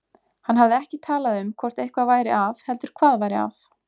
Hann hafði ekki talað um hvort eitthvað væri að heldur hvað væri að.